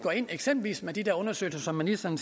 eksempelvis med de der undersøgelser som ministeren